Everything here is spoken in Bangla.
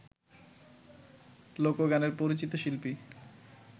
লোকগানের পরিচিত শিল্পী